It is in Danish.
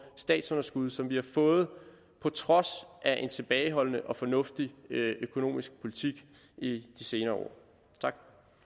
statsunderskud som vi har fået på trods af en tilbageholdende og fornuftig økonomisk politik i de senere år tak